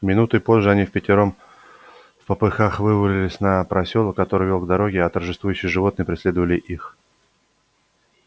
минутой позже они впятером впопыхах вывалились на просёлок который вёл к дороге а торжествующие животные преследовали их